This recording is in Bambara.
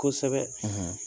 Kosɛbɛ